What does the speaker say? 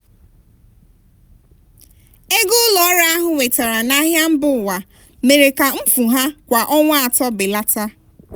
ego ụlọ ọrụ ahụ nwetara n'ahịa mba ụwa mere ka mfu ha kwa ọnwa atọ belata.